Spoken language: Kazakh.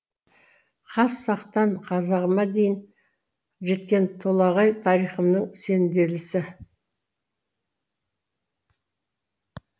хас сақтан қазағыма дейін жеткен толағай тарихымның сенделісі